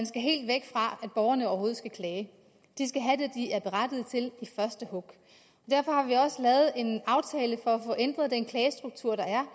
skal helt væk fra at borgerne overhovedet skal klage de skal have det de er berettiget til i første hug derfor har vi også lavet en aftale for at få ændret den klagestruktur der er